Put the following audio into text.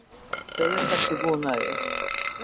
Auðvitað ertu búinn að því!